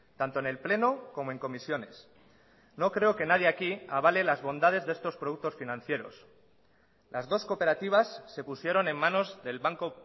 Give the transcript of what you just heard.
tanto en el pleno como en comisiones no creo que nadie aquí avale las bondades de estos productos financieros las dos cooperativas se pusieron en manos del banco